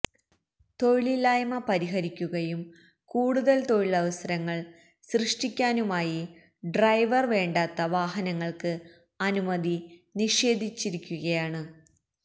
തൊഴിലില്ലായ്മ പരിഹരിക്കുകയും കൂടുതല് തൊഴിലവസരങ്ങള് സൃഷ്ടിക്കാനുമായി ഡ്രൈവര് വേണ്ടാത്ത വാഹനങ്ങള്ക്ക് അനുമതി നിഷേധിച്ചിരിക്കുകയാണ്